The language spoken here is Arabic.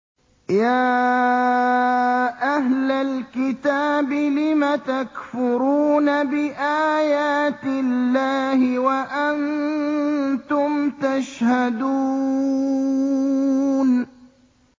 يَا أَهْلَ الْكِتَابِ لِمَ تَكْفُرُونَ بِآيَاتِ اللَّهِ وَأَنتُمْ تَشْهَدُونَ